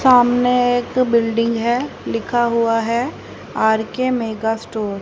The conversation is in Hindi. सामने एक बिल्डिंग है लिखा हुआ है आर_के मेगा स्टोर --